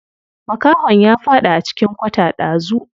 Makahon ya faɗi a cikin kwata ɗazu.